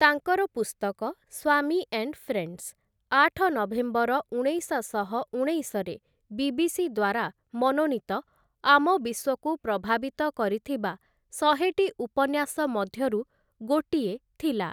ତାଙ୍କର ପୁସ୍ତକ 'Swami and Friends' ଆଠ ନଭେମ୍ବର, ଉଣେଇଶଶହ ଉଣେଇଶରେ ବିବିସି ଦ୍ୱାରା ମନୋନୀତ ଆମ ବିଶ୍ୱକୁ ପ୍ରଭାବିତ କରିଥିବା ଶହେଟି ଉପନ୍ୟାସ ମଧ୍ୟରୁ ଗୋଟିଏ ଥିଲା ।